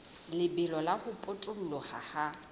lebelo la ho potoloha ha